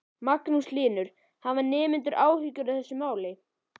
Magnús Hlynur: Hafa nemendur áhyggjur af þessu máli?